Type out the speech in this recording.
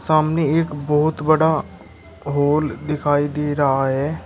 सामने एक बहुत बड़ा हॉल दिखाई दे रहा है।